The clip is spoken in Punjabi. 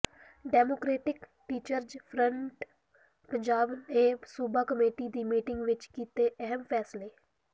ਡੈਮੋਕ੍ਰੇਟਿਕ ਟੀਚਰਜ ਫਰੰਟ ਪੰਜਾਬ ਨੇ ਸੂਬਾ ਕਮੇਟੀ ਦੀ ਮੀਟਿੰਗ ਵਿੱਚ ਕੀਤੇ ਅਹਿਮ ਫੈਸਲੇ